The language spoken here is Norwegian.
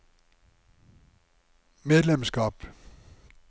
medlemskap